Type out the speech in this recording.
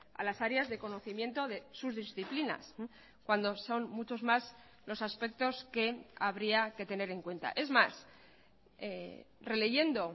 a las áreas de conocimiento de sus disciplinas cuando son muchos más los aspectos que habría que tener en cuenta es más releyendo